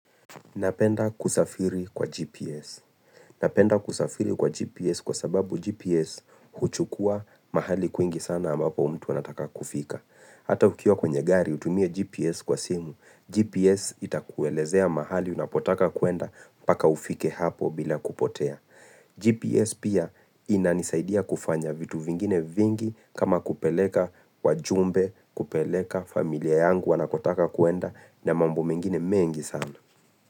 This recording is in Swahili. Napenda kusafiri kwa GPS. Napenda kusafiri kwa GPS kwa sababu GPS huchukua mahali kuingi sana ambapo mtu anataka kufika. Hata ukiwa kwenye gari utumie GPS kwa simu, GPS itakuelezea mahali unapotaka kuenda paka ufike hapo bila kupotea. GPS pia inanisaidia kufanya vitu vingine vingi kama kupeleka wajumbe, kupeleka familia yangu wanakotaka kuenda na mambo mengine mengi sana.